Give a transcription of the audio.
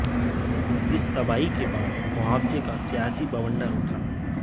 इस तबाही के बाद मुआवजे का सियासी बवंडर उठा